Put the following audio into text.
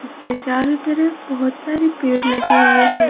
इसके चारों तरफ बहुत सारी पेड़ लगे हुए हैं।